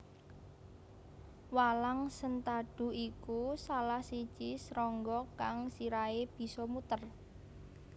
Walang sentadu iku salah siji srangga kang sirahe bisa muter